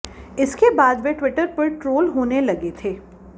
इसके बाद वे ट्विटर पर ट्रोल होने लगे थे